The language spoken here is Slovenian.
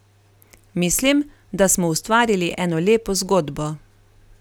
Mislim, da smo ustvarili eno lepo zgodbo.